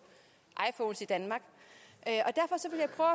at jeg